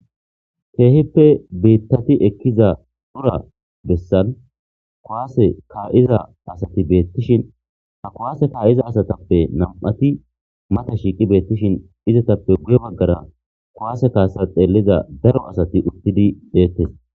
keehippe biittati ekkiza dhura bessan kaseka7iza asati beettishin ha kuwaase ka7iza asatappe nam7ati mata shiiqi beettishin izatappe guye baggara kuwaase kaasa xeelliza daro asati uttidi beettes